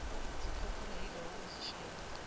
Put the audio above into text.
zikhokhelwa yilowo ozishayile